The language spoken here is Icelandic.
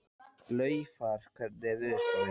Laufar, hvernig er veðurspáin?